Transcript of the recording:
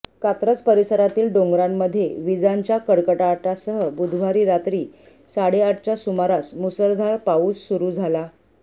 कात्रज परिसरातील डोंगरांमध्ये विजांच्या कडकडाटासह बुधवारी रात्री साडेआठच्या सुमारास मुसळधार पाऊस सुरू झाला